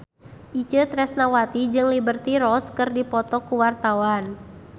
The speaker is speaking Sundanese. Itje Tresnawati jeung Liberty Ross keur dipoto ku wartawan